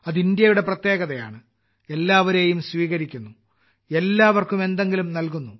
ഇത് ഇന്ത്യയുടെ പ്രത്യേകതയാണ് എല്ലാവരേയും സ്വീകരിക്കുന്നു എല്ലാവർക്കും എന്തെങ്കിലും നൽകുന്നു